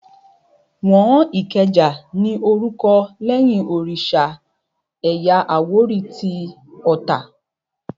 Wọ́n Ìkẹjà ní orúkọ lẹ́yìn òrìsà ẹ̀yà àwórì tí Ota